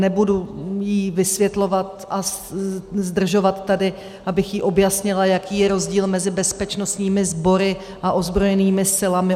Nebudu jí vysvětlovat a zdržovat tady, abych jí objasnila, jaký je rozdíl mezi bezpečnostními sbory a ozbrojenými silami.